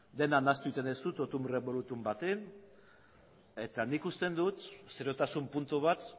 dena nahastu egiten duzu totum revolutum batean eta nik uste dut seriotasun puntu bat